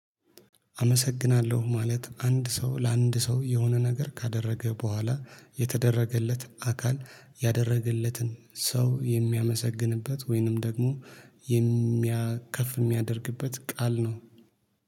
አመሰግናለሁ ማለት አንድ ሰው ለአንድ ሰው የሆነ ነገር ካደረገ በኋላ የተደረገለት አካል ያደረገለትን ሰው የሚያመሰግንበት ወይንም ደግሞ ከፍ የሚያደርግበት ቃል ነው